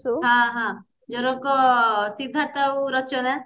ହଁ ହଁ ସିଦ୍ଧାର୍ଥ ଆଉ ରଚନା